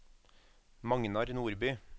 Magnar Nordby